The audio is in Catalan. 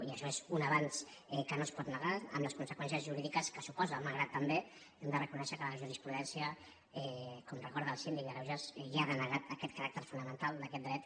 i això és un avenç que no es pot negar amb les conseqüències jurídiques que suposa malgrat que també hem de reconèixer que la jurisprudència com recorda el síndic de greuges ja ha denegat aquest caràcter fonamental d’aquest dret